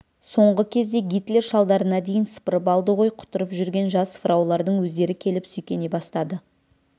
соңғы кезде гитлер шалдарына дейін сыпырып алды ғой құтырып жүрген жас фраулардың өздері келіп сүйкене бастады